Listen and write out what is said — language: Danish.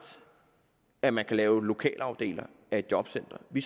at man ikke kan lave lokalafdelinger af et jobcenter vi